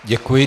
Děkuji.